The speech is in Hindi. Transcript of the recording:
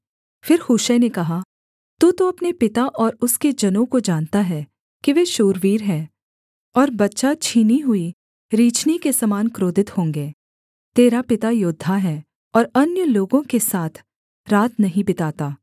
फिर हूशै ने कहा तू तो अपने पिता और उसके जनों को जानता है कि वे शूरवीर हैं और बच्चा छीनी हुई रीछनी के समान क्रोधित होंगे तेरा पिता योद्धा है और अन्य लोगों के साथ रात नहीं बिताता